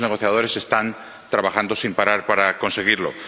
los equipos negociadores están trabajando sin parar para conseguirlo.